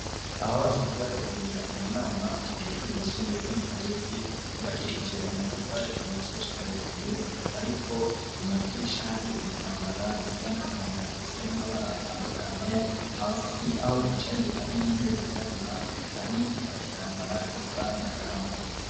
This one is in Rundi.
Aho basanzwe bategurira amanama kw' ishuri ryisumbuye ryo mu kabezi ryubakishije amatafari kuva hasi gushika hejuru ,ariko ku madirisha hari ibitambara bisa n'agahama, bifise n'amabara atandukanye, hasi aho bicaye hari n'intebe zirabura hari intukitambara gisa n'agahama.